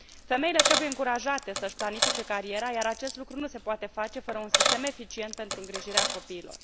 Femeile trebuie încurajate să își planifice cariera, iar acest lucru nu se poate face fără un sistem eficient pentru îngrijirea copiilor.